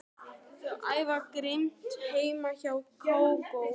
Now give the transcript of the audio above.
Þau æfa grimmt heima hjá Kókó.